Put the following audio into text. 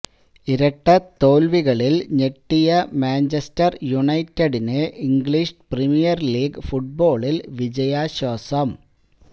ഇരട്ടത്തോല്വികളില് ഞെട്ടിയ മാഞ്ചസ്റ്റര് യുനൈറ്റഡിന് English premier league ഫുട്ബോളില് വിജയാശ്വാസം